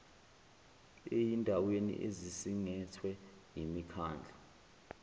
eyindaweni ezisingethwe yimikhandlu